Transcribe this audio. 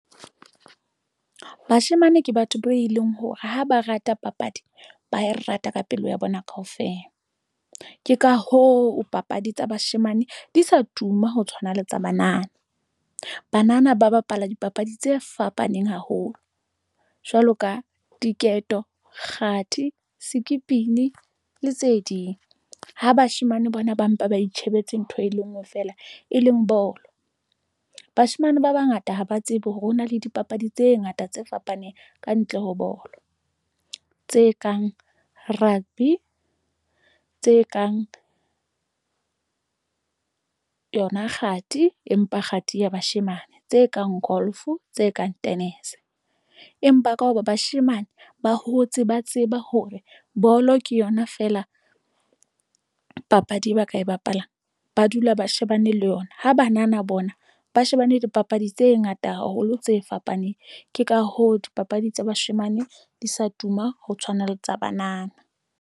Bashemane ke batho be leng hore ha ba rata papadi, ba e rata ka pelo ya bona kaofela. Ke ka hoo papadi tsa bashemane di sa tuma ho tshwana le tsa banana banana ba bapala dipapadi tse fapaneng haholo jwalo ka diketo, kgathi, sekipini le tse ding ha bashemane bana ba mpa, ba itjhebetse ntho e le ngwe feela e leng bolo. Bashemane ba bangata ha ba tsebe hore hona le dipapadi tse ngata tse fapaneng ka ntle ho bolo, tse kang rugby tse kang yona, kgathi, empa kgathi ya bashemane tse kang golf, o tse kang tennis, empa ka hoba bashemane ba hotse ba tseba hore bolo ke yona feela papadi e ba ka e bapalang, ba dula ba shebane le yona ha banana bona ba shebane le dipapadi tse ngata haholo tse fapaneng ke ka hoo dipapadi tsa bashemane di sa tuma ho tshwana le tsa banana.